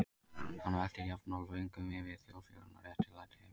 Hann veltir jafnoft vöngum yfir þjóðfélaginu og réttlæti heimsins.